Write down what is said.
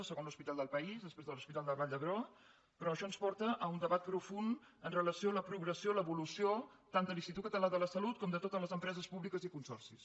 el segon hospital del país després de l’hospital de la vall d’hebron però això ens porta a un debat profund amb relació a la progressió i l’evolució tant de l’institut català de la salut com de totes les empreses públiques i consorcis